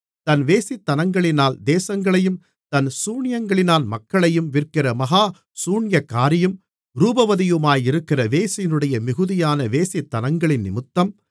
தன் வேசித்தனங்களினால் தேசங்களையும் தன் சூனியங்களினால் மக்களையும் விற்கிற மகா சூனியக்காரியும் ரூபவதியுமாயிருக்கிற வேசியினுடைய மிகுதியான வேசித்தனங்களினிமித்தம்